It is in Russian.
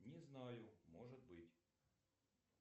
не знаю может быть